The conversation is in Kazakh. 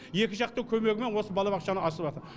екі жақтың көмегімен осы балабақшаны ашыватыр